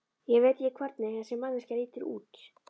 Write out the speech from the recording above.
Ég veit ekki hvernig þessi manneskja lítur út.